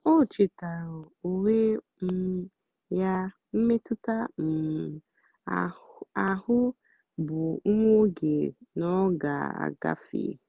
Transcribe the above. ó chétáárá ónwé um yá mmétụ́tà um áhụ̀ bụ́ nwá óge nà ọ́ gà-àgáfé. um